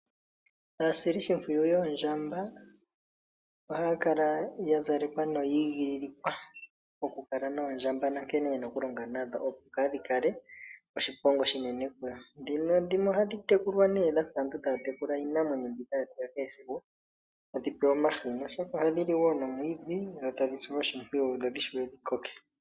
Aasilishimpwiyu yoondjamba ohaya kala ya zalekwa noyi igililikwa okukala noondjamba nankene ye na okulonga nadho opo kaadhi kale oshiponga oshinene kuyo, dhimwe ohadhi tekulwa nee dha fa aantu taya tekula iinamwenyo mbika yetu ya kehe esiku, tadhi pewa omahini oshoka ohadhi li wo nomwiidhi dho tadhi silwa oshimpwiyu dho dhi shiwe dhi koke.